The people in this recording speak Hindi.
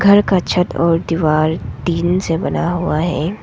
घर का छत और दीवार टीन से बना हुआ है।